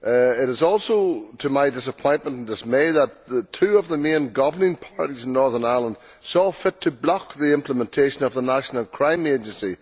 It is also to my disappointment and dismay that two of the main governing parties in Northern Ireland saw fit to block the implementation of the National Crime Agency.